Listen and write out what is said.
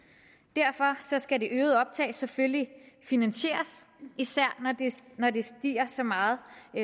derfor skal det øgede optag selvfølgelig finansieres især når det stiger så meget